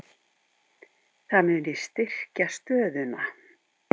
Það muni styrkja stöðuna.